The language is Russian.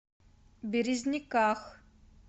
березниках